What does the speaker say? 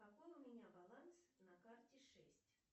какой у меня баланс на карте шесть